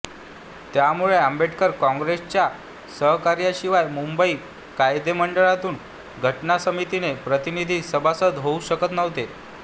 त्यामुळे आंबेडकर काँग्रेसच्या सहकार्याशिवाय मुंबई कायदेमंडळातून घटना समितीचे प्रतिनिधी सभासद होऊ शकत नव्हते